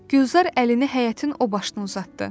Gülzar əlini həyətin o başına uzatdı.